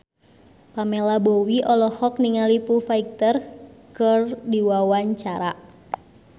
Pamela Bowie olohok ningali Foo Fighter keur diwawancara